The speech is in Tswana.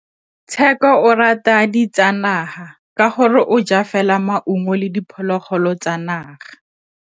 Tshekô o rata ditsanaga ka gore o ja fela maungo le diphologolo tsa naga.